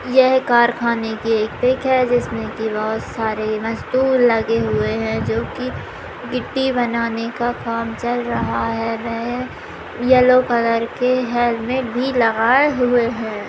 यह कारखाने की एक पिक है जिसमे की वह सारे मजदूर लगे हुए है जो की गिट्टी बनाने का काम चल रहा है वह येल्लो कलर के हेलमेट भी लगाए हुए है।